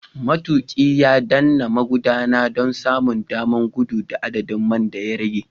Matuƙi ya danna magudanar don samun damar gudu da adadin man da ya rage.